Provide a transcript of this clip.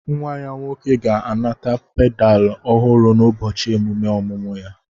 Nwa ya nwoke ga-anata padulu ọhụrụ n'ụbọchị emume ọmụmụ ya